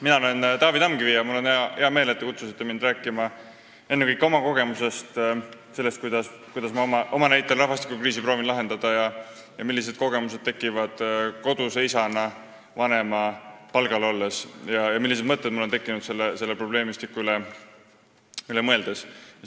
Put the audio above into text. Mina olen Taavi Tamkivi ja mul on hea meel, et te kutsusite mind siia rääkima ennekõike oma kogemustest – sellest, kuidas ma proovin oma näitel rahvastikukriisi lahendada, milliseid kogemusi olen saanud koduse isana vanemapalgal olles ja millised mõtted on mul tekkinud selle probleemistiku üle mõeldes.